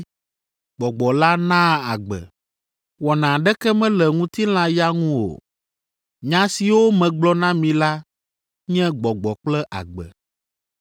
Gbɔgbɔ la naa agbe; wɔna aɖeke mele ŋutilã ya ŋu o. Nya siwo megblɔ na mi la nye Gbɔgbɔ kple agbe.